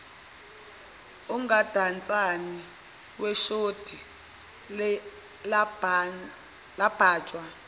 umgundatshani weshodi labhajwa